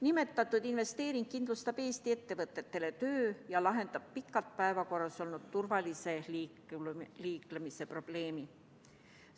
Nimetatud investeering kindlustab Eesti ettevõtetele töö ja lahendab pikalt päevakorral olnud turvalise liiklemise probleemi.